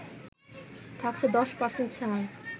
থাকছে ১০% ছাড়